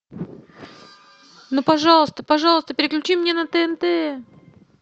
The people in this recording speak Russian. ну пожалуйста пожалуйста переключи мне на тнт